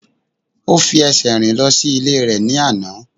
O fi ẹsẹ̀ rìn lọ sí ilé rẹ̀ ní àná.